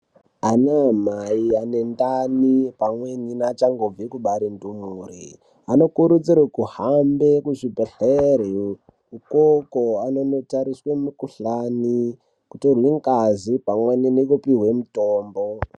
Ana amai anendani pamweni neachangobve kubare ndumure anokurudzirwe kuhambe kuzvibhedhlera ukoko anonotariswe mikhuhlani, kutorwe ngazi pamwe nekupihwe mitombo.